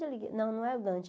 Não, não é o Dante.